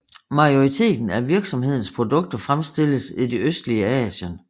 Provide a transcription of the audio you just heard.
Majoriteten af virksomhedens produkter fremstilles i det østlige Asien